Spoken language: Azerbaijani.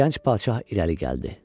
Gənc padşah irəli gəldi.